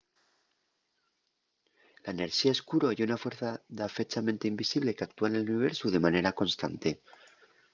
la enerxía escuro ye una fuerza dafechamente invisible qu’actúa nel universu de manera constante